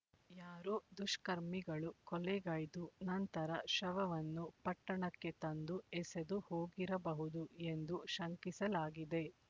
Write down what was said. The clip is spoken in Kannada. ಯಾರೋ ದುಷ್ಕರ್ಮಿಗಳು ಕೊಲೆಗೈದು ನಂತರ ಶವವನ್ನು ಪಟ್ಟಣಕ್ಕೆ ತಂದು ಎಸೆದು ಹೋಗಿರಬಹುದು ಎಂದು ಶಂಕಿಸಲಾಗಿದೆ